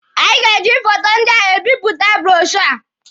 Anyị ga-eji foto ndị a ebipụta bụrọshoo a.